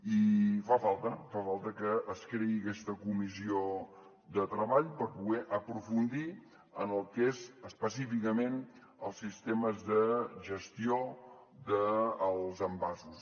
i fa falta fa falta que es creï aquesta comissió de treball per poder aprofundir en el que són específicament els sistemes de gestió dels envasos